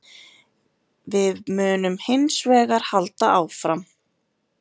Við munum hins vegar halda áfram